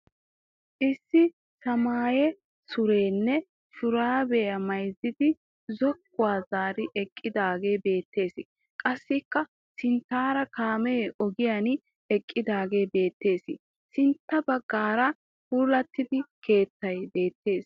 Issi samaaye suriyanne shuraabiya maayidi zokkuwa zaari eqqidaagee beettes. Qassikka sinttaara kaamee ogiyan eqqidaagee beettes. Sintta baggaara puulattida keettay beettes.